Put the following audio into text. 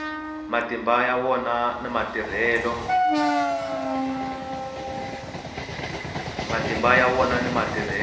matimba ya wona na matirhelo